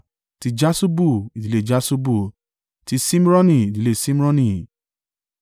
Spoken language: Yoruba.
ti Jaṣubu, ìdílé Jaṣubu; ti Ṣimroni, ìdílé Ṣimroni.